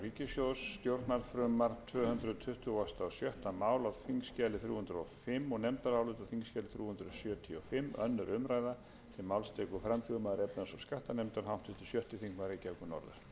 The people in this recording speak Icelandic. herra forseti ég mæli fyrir nefndaráliti um frumvarp til laga um breyting á lögum númer áttatíu og átta nítján hundruð